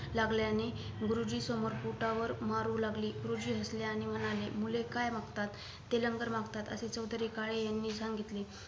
लागल्याने गुरुजी समोर पोटावर मारू लागले गुरुजी हसले आणि म्हणाले मुले काय मागतात ते लंगर मागतात असे चौधरी काळे यांनी सांगीतले